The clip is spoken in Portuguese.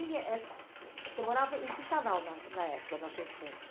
E você morava em que canal na na época da sua infância?